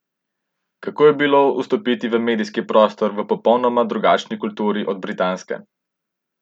Kako je bilo vstopiti v medijski prostor v popolnoma drugačni kulturi od britanske?